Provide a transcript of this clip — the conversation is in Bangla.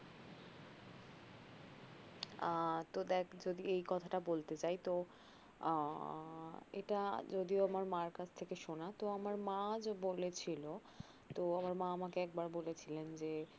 আ তো দেখ যদি এই কথাটা বলতে যাই তো আঃ এটা যদিও আমার মার কাছ থেকে শোনা তো আমার মা বলেছিলো তো আমার মা একবার বলেছিলেন যে আ